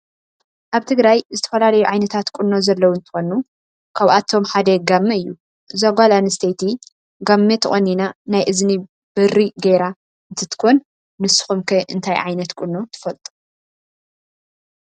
አብ ትግራይ ዝትፈላለዩ ዓይነታት ቆኖ ዘለዎ እንትኮኑ ካብአቶም ሓደ ጋመ እዩ እዛ ጋለ አንስተይቲ ጋመ ተቆኖና ናይ እዝኒ በሪ ገይራ እንትትኮን ንስኩም ከ እንታይ ዓይነት ቁኖ ትፈልጡ?